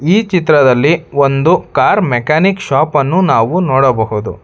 ಈ ಚಿತ್ರದಲ್ಲಿ ಒಂದು ಕಾರ್ ಮೆಕ್ಯಾನಿಕ್ ಶಾಪ್ ಅನ್ನು ನಾವು ನೋಡಬಹುದು.